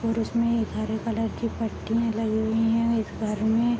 और उसमें एक हरे कलर कि पट्टीया लगी हुई है और इस घर में ।